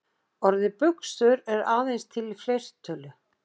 Orðið buxur er aðeins til í fleirtölu.